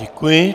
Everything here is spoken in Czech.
Děkuji.